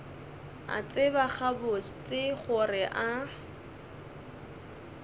a tseba gabotse gore a